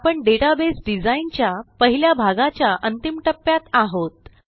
आपणDatabase design च्या पहिल्या भागाच्या अंतिम टप्प्यात आहोत